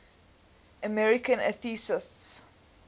american atheists